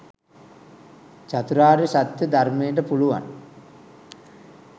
චතුරාර්ය සත්‍යය ධර්මයට පුළුවන්